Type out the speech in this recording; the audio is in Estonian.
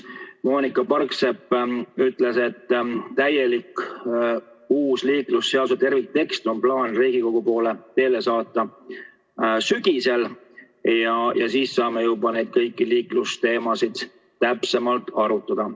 Moonika Parksepp ütles, et plaanis on uus liiklusseaduse terviktekst Riigikogu poole teele saata sügisel ja siis saame juba kõiki neid liiklusteemasid täpsemalt arutada.